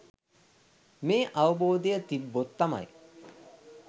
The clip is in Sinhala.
මේ අවබෝධය තිබ්බොත් තමයි